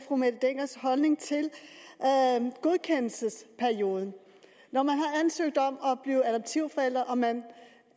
fru mette denckers holdning til godkendelsesperioden når man har ansøgt om at blive adoptivforældre og man